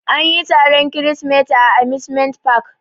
Anyi taron kirisimeti a amusement park.